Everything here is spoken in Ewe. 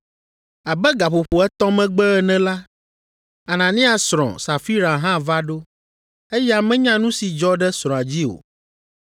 Abe gaƒoƒo etɔ̃ megbe ene la, Anania srɔ̃, Safira hã va ɖo. Eya menya nu si dzɔ ɖe srɔ̃a dzi o.